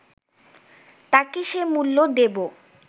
তাকে সে মূল্য দেবো